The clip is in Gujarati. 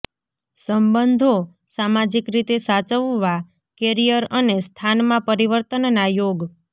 સંબંધો સામાજિક રીતે સાચવવા કેરિયર અને સ્થાનમાં પરિવર્તનના યોગ